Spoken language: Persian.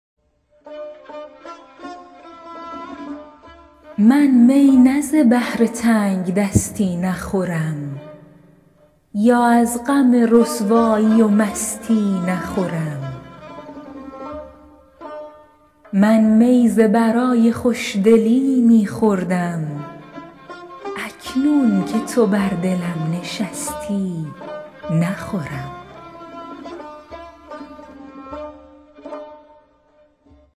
من می نه ز بهر تنگدستی نخورم یا از غم رسوایی و مستی نخورم من می ز برای خوشدلی می خوردم اکنون که تو بر دلم نشستی نخورم